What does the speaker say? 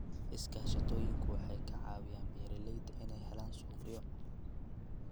Iskaashatooyinku waxay ka caawiyaan beeralayda inay helaan suuqyo.